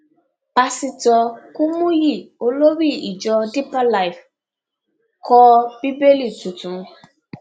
pásítọ kùmùyí olórí ìjọ deeper life kọ bíbélì tuntun